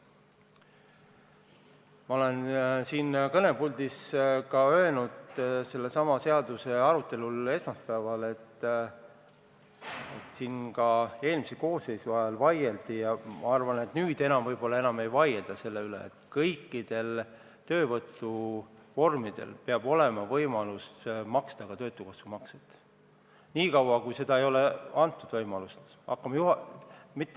Esmaspäeval ma ütlesin siin kõnepuldis sellesama seaduseelnõu arutelul, et eelmise koosseisu ajal vaieldi – ma arvan, et nüüd enam võib-olla ei vaielda selle üle –, kas kõikide töövõtuvormide puhul peab olema võimalus maksta vajadusel töötukassa makseid.